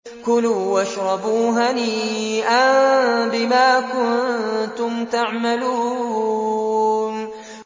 كُلُوا وَاشْرَبُوا هَنِيئًا بِمَا كُنتُمْ تَعْمَلُونَ